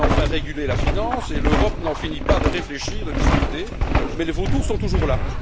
On allait enfin réguler la finance et l'Europe n'en finit pas de réfléchir, de discuter, mais les vautours sont toujours là.